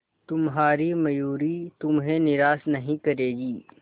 तुम्हारी मयूरी तुम्हें निराश नहीं करेगी